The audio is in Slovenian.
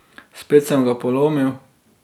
Spet sem ga polomil.